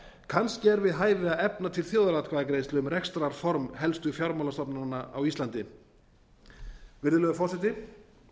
kannski er við hæfi að efna til þjóðaratkvæðagreiðslu um rekstrarform helstu fjármálastofnana á íslandi virðulegur forseti